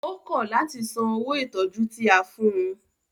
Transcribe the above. Ó kọ̀ láti san owó ìtọjú tí a fún ùn.